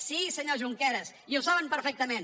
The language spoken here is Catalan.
sí senyor junqueras i ho saben perfectament